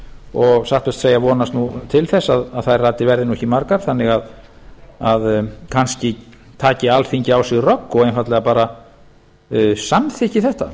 og satt best að segja vonast nú til þess að þær raddir verði nú ekki margar þannig að kannski taki alþingi á sig rögg og einfaldlega bara samþykki þetta